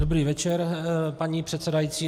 Dobrý večer, paní předsedající.